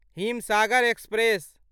Himsagar express